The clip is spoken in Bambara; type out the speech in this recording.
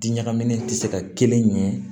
Di ɲagaminen tɛ se ka kelen ɲɛ